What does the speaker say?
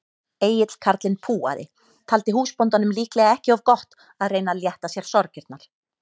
Egill karlinn púaði, taldi húsbóndanum líklega ekki of gott að reyna að létta sér sorgirnar.